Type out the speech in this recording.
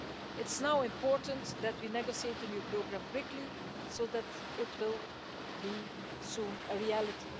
It's now important that we negotiate the new programme quickly so that it will soon be a reality.